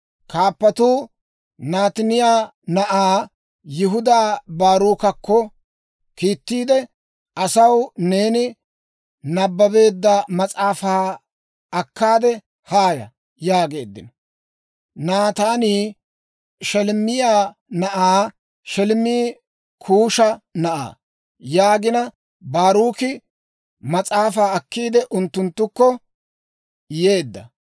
Kaappatuu Nataaniyaa na'aa Yihuda Baaruukakko kiittiide, «Asaw neeni nabbabeedda mas'aafaa akkaade haaya» yaageeddino. Nataanii Sheleemiyaa na'aa; Sheleemi Kuusha na'aa. Yaagina Baaruki mas'aafaa akkiide, unttunttukko yeedda.